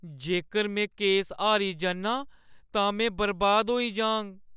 जेकर में केस हारी जन्नां तां में बर्बाद होई जाङ।